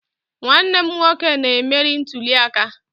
Nwanne m nwoke na-emeri ntuli aka